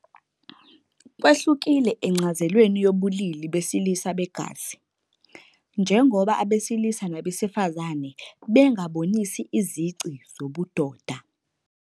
Kwehlukile encazelweni yobulili besilisa begazi, njengoba abesilisa nabesifazane bengabonisa izici zobudoda.